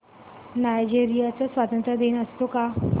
Nigeria चा स्वातंत्र्य दिन असतो का